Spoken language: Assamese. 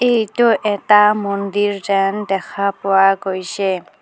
এইটো এটা মন্দিৰ যেন দেখা পোৱা গৈছে.